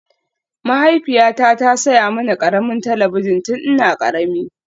Mahaifiyata ta saya mini ƙaramin talabijin tun ina ƙarami